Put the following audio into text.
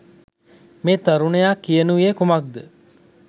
මේ තරුණයා කියනුයේ කුමක්‌ද?